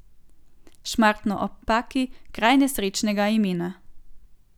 Šmartno ob Paki, kraj nesrečnega imena.